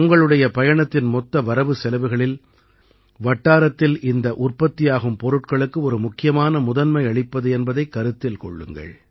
உங்களுடைய பயணத்தின் மொத்த வரவுசெலவுகளில் வட்டாரத்தில் இந்த உற்பத்தியாகும் பொருட்களுக்கு ஒரு முக்கியமான முதன்மை அளிப்பது என்பதைக் கருத்தில் கொள்ளுங்கள்